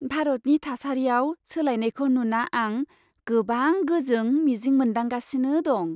भारतनि थासारियाव सोलायनायखौ नुना आं गोबां गोजों मिजिं मोनदांगासिनो दं।